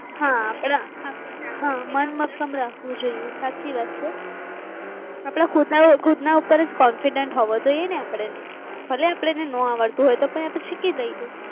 મન મક્કમ રાખ વું જોઈએ. આપડા ખુદા ખુદ ના ઉપર જ confidence હોવો જોઈએ ને આપણે ભલે આપણને ના આવડતું હોય તો પછી લઇ